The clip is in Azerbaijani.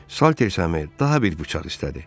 Salters Semy daha bir bıçaq istədi.